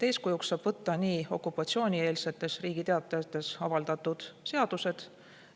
Eeskujuks saab võtta okupatsioonieelsetes Riigi Teatajates avaldatud seadused.